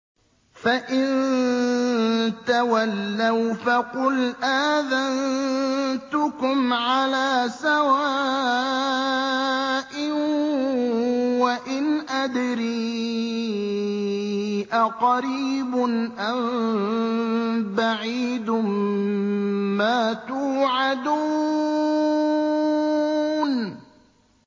فَإِن تَوَلَّوْا فَقُلْ آذَنتُكُمْ عَلَىٰ سَوَاءٍ ۖ وَإِنْ أَدْرِي أَقَرِيبٌ أَم بَعِيدٌ مَّا تُوعَدُونَ